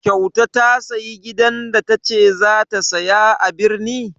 Kyauta ta sayi gidan da ta ce za ta saya a birni?